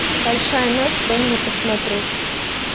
большая ночь дай мне посмотреть